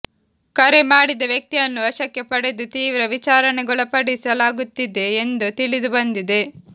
ಕರೆ ಮಾಡಿದ ವ್ಯಕ್ತಿಯನ್ನು ವಶಕ್ಕೆ ಪಡೆದು ತೀವ್ರ ವಿಚಾರಣೆಗೊಳಪಡಿಸಲಾಗುತ್ತಿದೆ ಎಂದು ತಿಳಿದುಬಂದಿದೆ